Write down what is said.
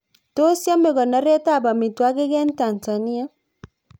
Tos yame konoret ab amitwogik eng Tansania